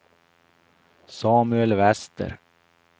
Samuel Wester